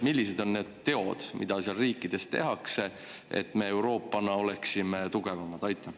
Millised on need teod, mida seal riikides tehakse, et me Euroopana oleksime tugevamad?